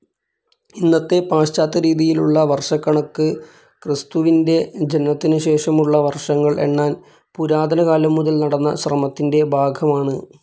ഇന്നത്തെ പാശ്ചാത്യരീതിയിലുള്ള വർഷക്കണക്ക് ക്രിസ്തുവിന്റെ ജനനത്തിനുശേഷമുള്ള വർഷങ്ങൾ എണ്ണാൻ പുരാതനകാലം മുതൽ നടന്ന ശ്രമത്തിന്റെ ഭാഗമാണ്‌.